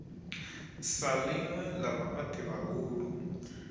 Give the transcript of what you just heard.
sa ḽinwe ḽa vhafhaṱi vhahulu